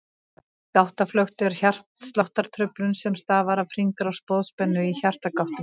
Gáttaflökt er hjartsláttartruflun sem stafar af hringrás boðspennu í hjartagáttum.